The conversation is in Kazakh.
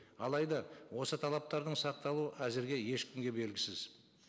алайда осы талаптардың сақталуы әзірге ешкімге белгісіз